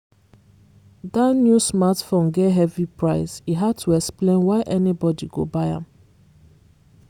that new smartphone get heavy price e hard to explain why anybody go buy am.